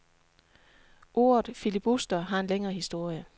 Ordet filibuster har en længere historie.